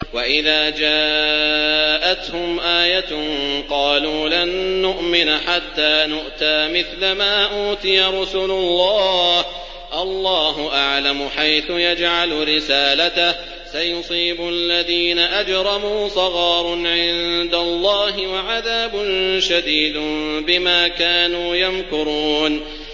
وَإِذَا جَاءَتْهُمْ آيَةٌ قَالُوا لَن نُّؤْمِنَ حَتَّىٰ نُؤْتَىٰ مِثْلَ مَا أُوتِيَ رُسُلُ اللَّهِ ۘ اللَّهُ أَعْلَمُ حَيْثُ يَجْعَلُ رِسَالَتَهُ ۗ سَيُصِيبُ الَّذِينَ أَجْرَمُوا صَغَارٌ عِندَ اللَّهِ وَعَذَابٌ شَدِيدٌ بِمَا كَانُوا يَمْكُرُونَ